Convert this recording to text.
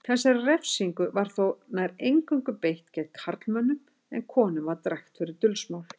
Þessari refsingu var þó nær eingöngu beitt gegn karlmönnum en konum var drekkt fyrir dulsmál.